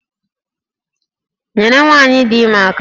Nyere nwanyi dị ime aka!